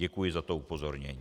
Děkuji za to upozornění.